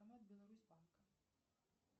обр беларусь банка